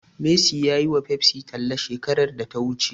Messi ya yiwa Pepsi talla shekarar da ta wuce.